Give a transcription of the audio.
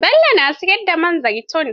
Bello na siyar da man zaitun.